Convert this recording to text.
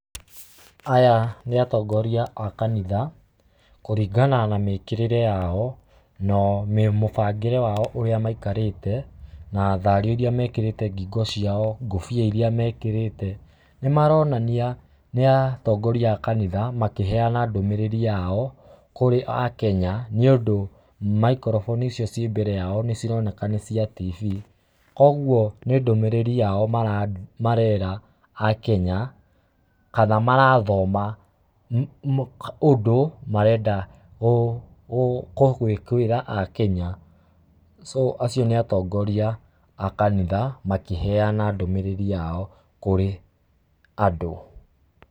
Aya nĩ atongoria akanitha kũringana na mĩkirĩre yao na mũbangĩre wao ũrĩa maikarĩte na thario iria mekĩrĩte ngĩko ciao, kobia irĩa mekĩrĩte, nĩmaronania nĩatongoria akanitha makĩheana ndũmĩrĩri yao kũrĩ aKenya nĩundũ microphone icio ciĩ mbere yao nĩcironeka nĩcia tv kwoguo nĩ ndũmĩrĩri yao marera aKenya, kana marathoma ũndũ marenda kwĩra aKenya so acio nĩ atongoria akanitha makĩnenana ndũmĩrĩri yao kũrĩ andũ .